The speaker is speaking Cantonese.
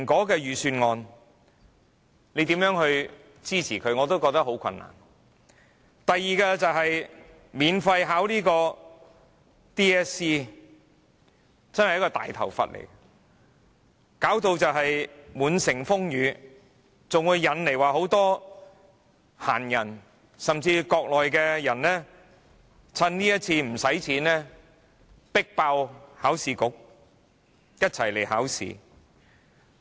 第二，是建議讓考生免費考香港中學文憑考試，真是一個"大頭佛"，弄得滿城風雨，還會引來很多閒人，甚至國內的人乘此次免費考試迫爆考試局，一起來考試。